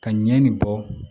Ka ɲɛ nin bɔ